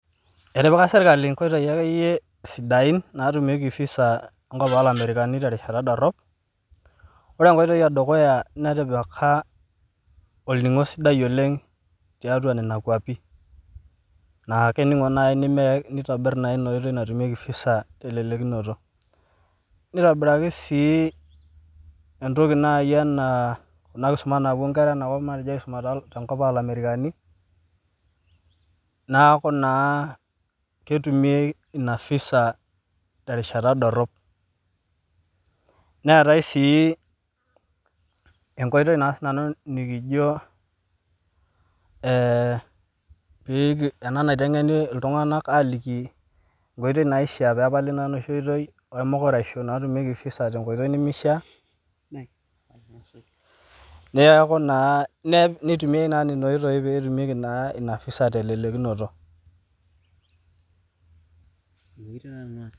Etipika sirkali nkoitoi akeyie sidain natumieki visa enkop oolamerikani te rishata dorop, ore enkoitoi edukuya netipika olningo sidai oleng tiatua Nena kuapi, naa keningo naaji nitobir naaji enkoitoi natumieki telelkinoto,, nitobiraki sii entoki naaji anaa ena kisuma naapuo nkera enakop aisuma tenkop oolamerikani neeku naa ketumi Ina visa terishata dorop, neetae sii enkoitoi nikijo, ee ena naitengeni iltunganak aaliki enkoitoi naishaa pee etumi naa enoshi aitoki emukraisho, naatumiek visa tenkoitoi nimishaa, nitumiae naa Ina oitoi pee etumieki Visa telelkinoto,.